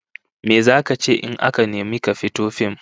Me zaka ce in aka nemi ka fito a fim?